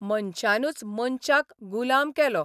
मनशानूच मनशाक गुलाम केलो.